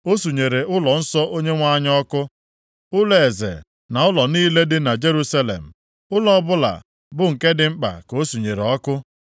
O sunyere ụlọnsọ Onyenwe anyị ọkụ, ụlọeze na ụlọ niile dị na Jerusalem, ụlọ ọbụla bụ nke dị mkpa ka o surere ọkụ.